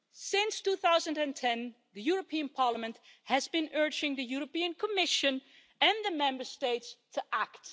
Since 2010, the European Parliament has been urging the Commission and the Member States to act.